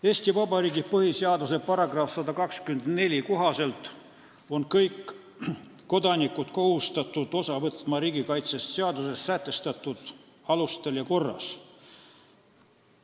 Eesti Vabariigi põhiseaduse § 124 kohaselt on kõik kodanikud kohustatud osa võtma riigikaitsest seaduses sätestatud alustel ja korras.